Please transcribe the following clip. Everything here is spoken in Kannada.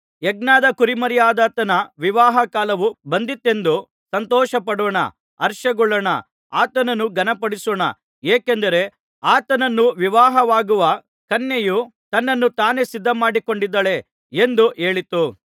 ಯಜ್ಞದ ಕುರಿಮರಿಯಾದಾತನ ವಿವಾಹಕಾಲವು ಬಂದಿತೆಂದು ಸಂತೋಷಪಡೋಣ ಹರ್ಷಗೊಳ್ಳೋಣ ಆತನನ್ನು ಘನಪಡಿಸೋಣ ಏಕೆಂದರೆ ಆತನನ್ನು ವಿವಾಹವಾಗುವ ಕನ್ಯೆಯು ತನ್ನನ್ನು ತಾನೇ ಸಿದ್ಧಮಾಡಿಕೊಂಡಿದ್ದಾಳೆ ಎಂದು ಹೇಳಿತು